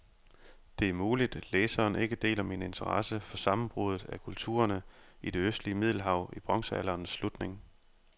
Det er muligt, læseren ikke deler min interesse for sammenbruddet af kulturerne i det østlige middelhav i bronzealderens slutning.